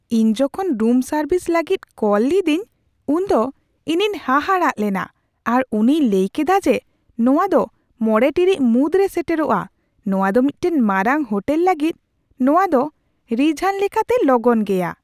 ᱤᱧ ᱡᱚᱠᱷᱚᱱ room service ᱞᱟᱹᱜᱤᱫ ᱠᱚᱞ ᱞᱤᱫᱟᱹᱧ ᱩᱱᱫᱚ ᱤᱧᱤᱧ ᱦᱟᱦᱟᱲᱟᱜ ᱞᱮᱱᱟ ᱟᱨ ᱩᱱᱤᱭ ᱞᱟᱹᱭ ᱠᱮᱫᱟ ᱡᱮ ᱱᱚᱣᱟ ᱫᱚ ᱕ ᱴᱤᱲᱤᱡ ᱢᱩᱫᱽᱨᱮ ᱥᱮᱴᱮᱨᱚᱜᱼᱟ ᱾ ᱱᱚᱶᱟ ᱫᱚ ᱢᱤᱫᱴᱟᱝ ᱢᱟᱨᱟᱝ ᱦᱳᱴᱮᱞ ᱞᱟᱹᱜᱤᱫ ᱱᱚᱣᱟᱫᱚ ᱨᱤᱡᱷᱟᱱ ᱞᱮᱠᱟᱛᱮ ᱞᱚᱜᱚᱱ ᱜᱮᱭᱟ ᱾